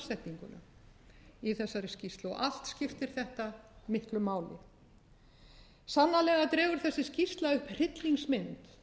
framsetninguna í þessari skýrslu og allt skiptir þetta miklu máli sannarlega dregur þessi skýrsla upp hryllingsmynd